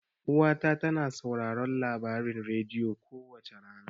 Uwa ta tana sauraron labarin rediyo kowace rana.